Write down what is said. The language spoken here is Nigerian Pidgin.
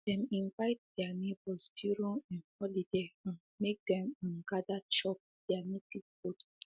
dem invite their neighbors during um holiday um make them um gather chop there native food